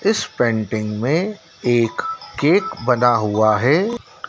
इस पेंटिंग में एक केक बना हुआ है।